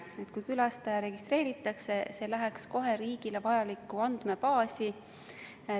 Et kui külastaja registreeritakse, siis see läheks kohe riigile vajalikku andmebaasi.